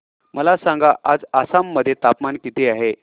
मला सांगा आज आसाम मध्ये तापमान किती आहे